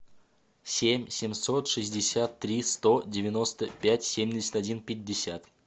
семь семьсот шестьдесят три сто девяносто пять семьдесят один пятьдесят